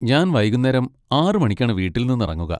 ഞാൻ വൈകുന്നേരം ആറ് മണിക്കാണ് വീട്ടിൽ നിന്നിറങ്ങുക.